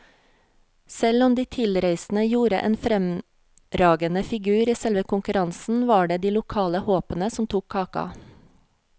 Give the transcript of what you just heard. Selv om de tilreisende gjorde en fremragende figur i selve konkurransen, var det de lokale håpene som tok kaka.